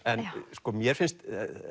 mér finnst